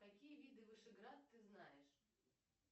какие виды вышеград ты знаешь